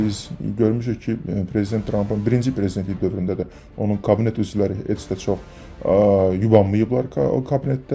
Biz görmüşük ki, prezident Trampın birinci prezidentlik dövründə də onun kabinet üzvləri eləcə də çox yubanmayıblar kabinetdə.